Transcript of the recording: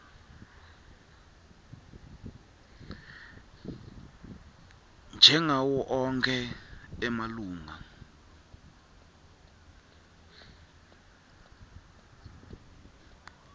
njengawo onkhe emalunga